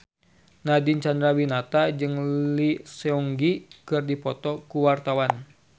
Nadine Chandrawinata jeung Lee Seung Gi keur dipoto ku wartawan